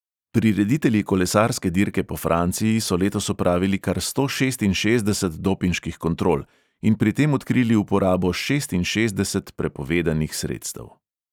Prireditelji kolesarske dirke po franciji so letos opravili kar sto šestinšestdeset dopinških kontrol in pri tem odkrili uporabo šestinšestdeset prepovedanih sredstev.